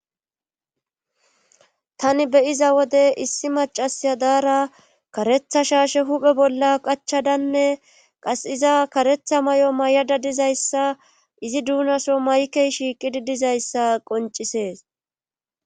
tani be7iza wode issi macasiya daara karetha shaashe hupe bolla qachadanne qas iza karetha may7o may7ada dizayssa izi duunaso maykey shiiqidi dizayssa qoncisees.